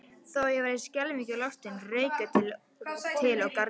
Þó ég væri skelfingu lostinn rauk ég til og gargaði